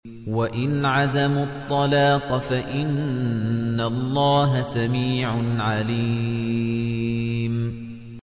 وَإِنْ عَزَمُوا الطَّلَاقَ فَإِنَّ اللَّهَ سَمِيعٌ عَلِيمٌ